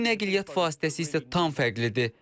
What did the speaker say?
Bu nəqliyyat vasitəsi isə tam fərqlidir.